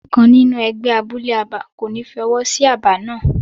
Àwọn kan nínú ẹgbẹ́ abúlé abà kò ní fi ọwọ́ sí aba náà.